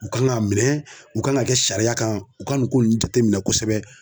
U kan ŋa minɛ u kan ŋ'a kɛ sariya kan, u ka nu ko nn jateminɛ kosɛbɛ